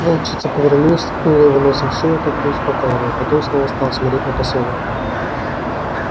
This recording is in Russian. волчица повернулась ткнула его носом в шею как бы успокаивая потом снова стала смотреть на посёлок